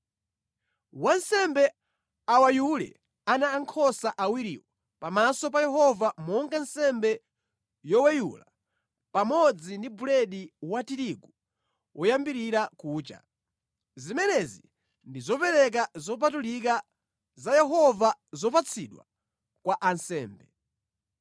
Wansembe aweyule ana ankhosa awiriwo pamaso pa Yehova monga nsembe yoweyula, pamodzi ndi buledi wa tirigu woyambirira kucha. Zimenezi ndi zopereka zopatulika za Yehova zopatsidwa kwa ansembe.